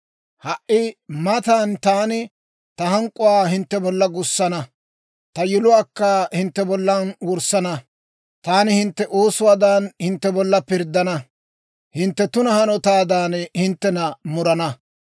Ha"i matan taani ta hank'k'uwaa hintte bolla gussana; ta yiluwaakka hintte bollan wurssana. Taani hintte oosuwaadan, hintte bolla pirddana; hintte tuna hanotaadan, hinttena murana.